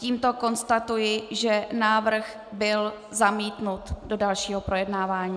Tímto konstatuji, že návrh byl zamítnut do dalšího projednávání.